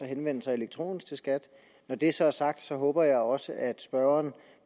henvende sig elektronisk til skat når det så er sagt håber jeg også at spørgeren